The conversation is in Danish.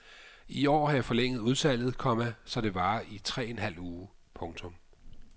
I år har jeg forlænget udsalget, komma så det varer i tre en halv uge. punktum